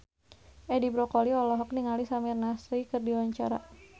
Edi Brokoli olohok ningali Samir Nasri keur diwawancara